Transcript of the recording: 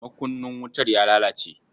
Makunnin wutar ya lalace.